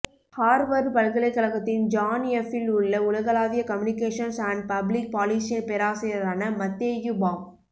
Harvard பல்கலைக் கழகத்தின் John F இல் உள்ள உலகளாவிய கம்யூனிகேஷன்ஸ் அண்ட் பப்ளிக் பாலிசியின் பேராசிரியரான மத்தேயு பாம்